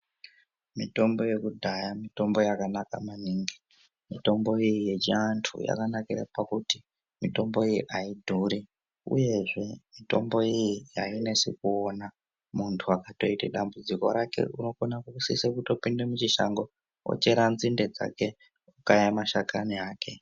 Mitombo yekudhaya mitombo yakanaka maningi. Mitombo yechiantu yakanakira pakuti mitombo iyi aidhuri uye zve mitombo iyi ainesi kuona munhu. Muntu akatoita dambudziko rake unokona kusisa kutopinda muchishango achera nzinde dzake okaya mashakani ake